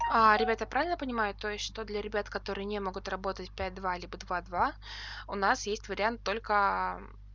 а ребята я правильно понимаю то есть что для ребят которые не могут работать пять два либо два два у нас есть вариант только